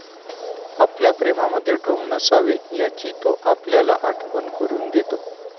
आपल्या प्रेमामध्ये ढोंग नसावे याची तो आपल्याला आठवण करून देतो.